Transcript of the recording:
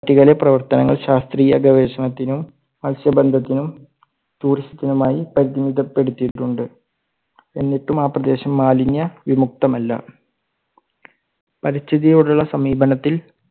ട്ടിക്കയിലെ പ്രവർത്തങ്ങൾ ശാസ്ത്രീയ ഗവേഷണത്തിനും, മത്സ്യബന്ധത്തിനും, tourist നുമായി പരിമിതപ്പെടുത്തിയിട്ടുണ്ട്. എന്നിട്ടും ആ പ്രദേശം മാലിന്യ വിമുക്തമല്ല. പരിസ്ഥിതിയോടുള്ള സമീപനത്തിൽ